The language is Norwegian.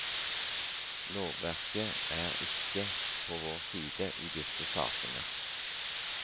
Lovverket er ikke på vår side i disse sakene.